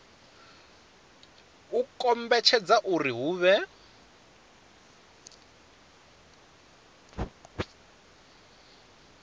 u kombetshedza uri hu vhe